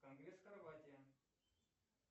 конгресс хорватия